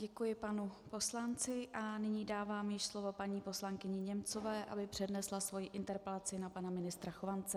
Děkuji panu poslanci a nyní dávám již slovo paní poslankyni Němcové, aby přednesla svoji interpelaci na pana ministra Chovance.